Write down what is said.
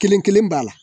Kelen kelen b'a la